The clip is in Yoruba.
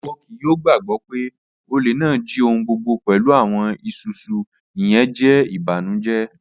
Iwọ kii yoo gbagbọ pe ole naa ji ohun gbogbo pẹlu awọn isusu, iyẹn jẹ ibanujẹ